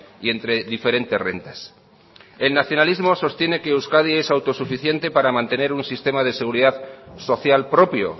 y entre diferentes rentas el nacionalismo sostiene que euskadi es autosuficiente para mantener un sistema de seguridad social propio